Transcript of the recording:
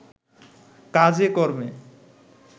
কাজে-কর্মে